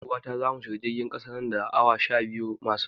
Ni da 'yar uwata zamu shiga jirgin ƙasa nan da awa sha biyu masu zuwa.